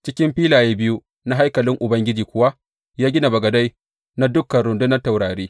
Cikin filaye biyu na haikalin Ubangiji kuwa, ya gina bagadai na dukan rundunan taurari.